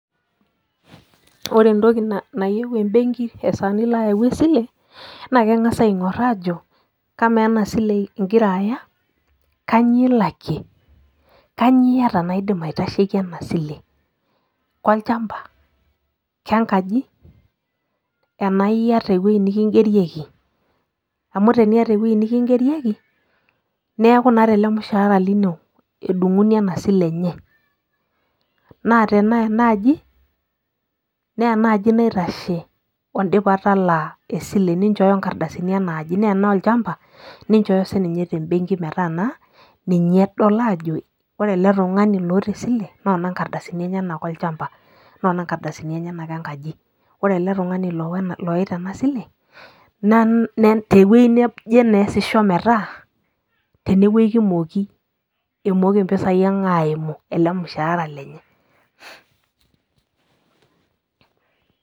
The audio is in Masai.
ore entoki nayieu ebenki tenilo ayau esile, naa kengas aing'or aajo, amaa ena sile igira aya kainyioo ilalkie, kainyioo iyata naidim aitasheki ena sile, kolchamapa, kenkaji, enaa iyeta ewueji nikigerieki. amu teniata ewuei nikigerieki, neeku naa tele mushaara lino edung'uni ena sile enye, naa tenaa ena aji, naa ena aji naitashe oo dipa talaa, esile, ninchoyoo nkardasini enaji, naa tenaa olchampa ninchooyo sii ninye tembenki metaa ninye edol aajo ore ele tungani loota esile, noona nkardasini enyenak olchampa, noona nkardasini enyenak enkaji. ore ele tungani oita ena sile, ewuei neje naa easisho metaa, tene wueji kimooki, emooki mpisai ang' aimu, ele mushaara lenye.